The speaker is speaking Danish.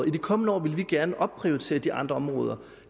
i de kommende år vil de gerne opprioritere de andre områder